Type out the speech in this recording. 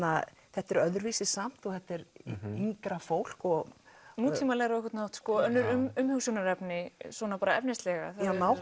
þetta er öðruvísi samt og þetta er yngra fólk og nútímalegra á einhvern hátt önnur umhugsunarefni svona efnislega